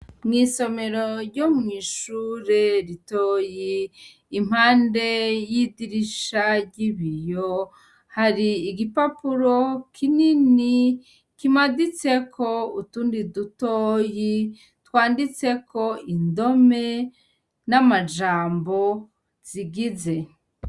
Mw' isomero ryo mw'ishure ritoyi impande y'idirisha ry'ibiyo, hari igipapuro kinini kimaditseko utundi dutoyi twanditseko indome n'amajambo zigize.